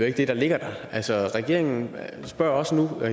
ikke det der ligger her regeringen spørger os nu